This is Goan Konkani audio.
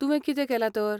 तुवें कितें केलां तर ?